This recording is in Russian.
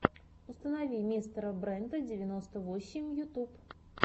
установи мистера брента девяносто восемь ютюб